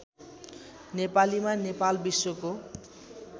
नेपालीमा नेपाल विश्वको